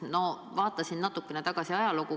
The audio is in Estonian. Ma vaatasin natukene tagasi ajalukku.